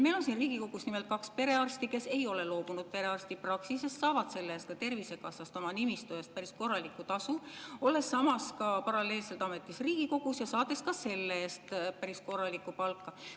Meil on siin Riigikogus nimelt kaks perearsti, kes ei ole loobunud perearstipraksisest, saavad selle eest Tervisekassast oma nimistu eest päris korralikku tasu, olles samas paralleelselt ametis Riigikogus ja saades ka selle eest päris korralikku palka.